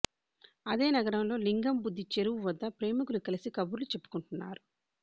అదే నగరంలో లింగంబుద్ది చెరువు వద్ద ప్రేమికులు కలిసి కబర్లు చెప్పుకుంటున్నారు